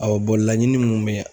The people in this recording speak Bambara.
Awɔ laɲini mun be yan